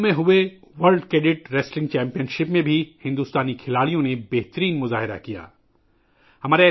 روم میں منعقدہ world cadet wrestling championship میں بھی بھارتی کھلاڑیوں نے شاندار کارکردگی کا مظاہرہ کیا ہے